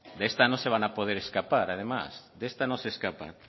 de esta no se van a poder escapar además de esta no se escapan